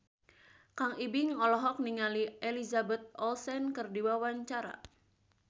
Kang Ibing olohok ningali Elizabeth Olsen keur diwawancara